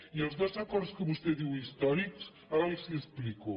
i els dos acords que vostè diu històrics ara els hi explico